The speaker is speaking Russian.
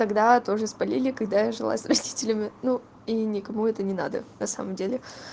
тогда тоже спалили когда я жила с родителями ну и никому это не надо на самом деле